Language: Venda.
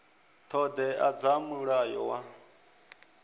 ṱho ḓea dza mulayo wa